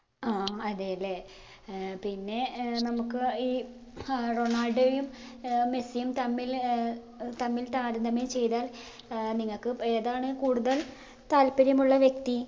ആ അതെയലേ ഏർ പിന്നെ ഏർ നമ്മുക്ക് ഈ ആ റൊണാൾഡോയെയും ഏർ മെസ്സിയും തമ്മിൽ ഏർ ഏർ തമ്മിൽ താരതമ്യം ചെയ്‌താൽ ഏർ നിങ്ങക്ക് ഏതാണ് കൂടുതൽ താല്പര്യമുള്ള വ്യക്തി